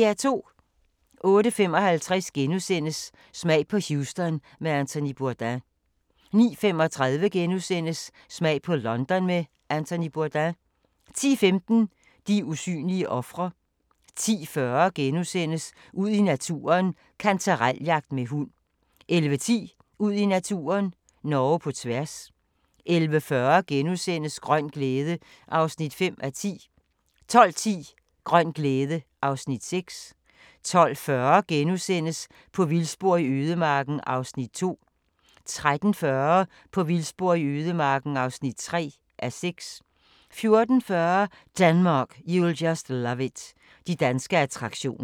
08:55: Smag på Houston med Anthony Bourdain * 09:35: Smag på London med Anthony Bourdain * 10:15: De usynlige ofre 10:40: Ud i naturen: Kantarel-jagt med hund * 11:10: Ud i naturen: Norge på tværs 11:40: Grøn glæde (5:10)* 12:10: Grøn glæde (Afs. 6) 12:40: På vildspor i ødemarken (2:6)* 13:40: På vildspor i ødemarken (3:6) 14:40: Denmark, you'll just love it – de danske attraktioner